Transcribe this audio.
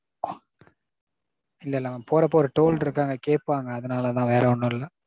இல்ல நான் போறப்போ ஒரு toll இருக்கு அங்க கேப்பாங்க அதனால தான் வேற ஒன்னும் இல்ல.